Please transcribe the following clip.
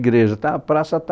Igreja, está a praça